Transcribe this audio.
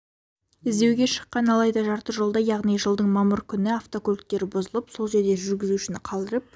іздеуге шыққан алайда жарты жолда яғни жылдың мамыр күні автокөліктері бұзылып сол жерде жүргізушіні қалдырып